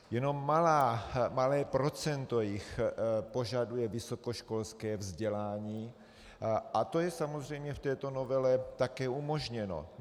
Jenom malé procento jich požaduje vysokoškolské vzdělání a to je samozřejmě v této novele také umožněno.